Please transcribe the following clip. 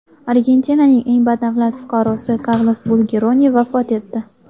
Argentinaning eng badavlat fuqarosi Karlos Bulgeroni vafot etdi.